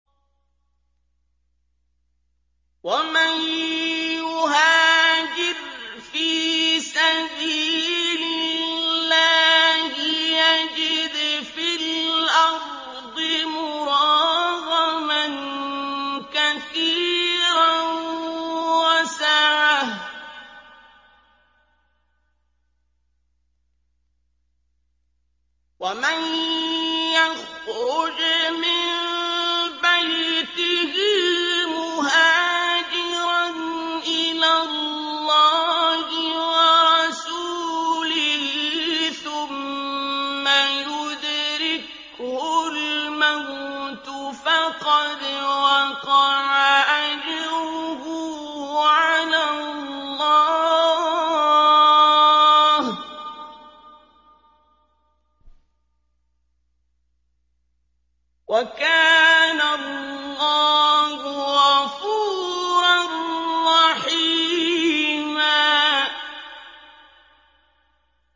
۞ وَمَن يُهَاجِرْ فِي سَبِيلِ اللَّهِ يَجِدْ فِي الْأَرْضِ مُرَاغَمًا كَثِيرًا وَسَعَةً ۚ وَمَن يَخْرُجْ مِن بَيْتِهِ مُهَاجِرًا إِلَى اللَّهِ وَرَسُولِهِ ثُمَّ يُدْرِكْهُ الْمَوْتُ فَقَدْ وَقَعَ أَجْرُهُ عَلَى اللَّهِ ۗ وَكَانَ اللَّهُ غَفُورًا رَّحِيمًا